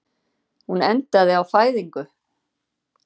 Hún endaði á fæðingu.